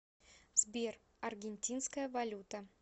сбер аргентинская валюта